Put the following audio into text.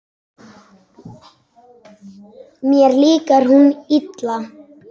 Mér líkar hún illa.